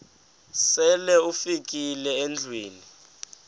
sele ufikile endlwini